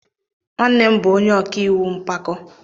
Nwannem nwanyi bu onye oka iwu npako.